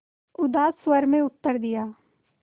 उदास स्वर में उत्तर दिया